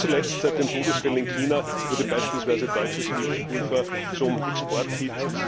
Nicht zuletzt seit den Todesfällen in China wurde beispielsweise deutsches Milchpulver zum Exporthit.